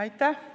Aitäh!